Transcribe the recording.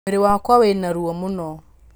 Mwĩrĩ wakwa wĩna ruo mũno.